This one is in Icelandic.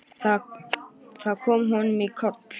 Það kom honum í koll.